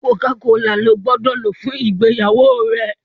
Coca-cola ló gbódò lò fún ìgbéyàwó rẹ!